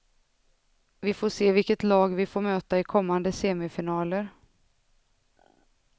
Vi får se vilket lag vi får möta i kommande semifinaler.